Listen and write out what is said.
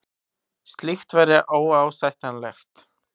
Slíkt væri óásættanlegt